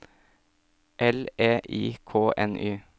L E I K N Y